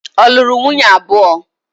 Ọ lụrụ nwunye abụọ?